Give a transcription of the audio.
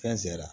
Fɛn zɛri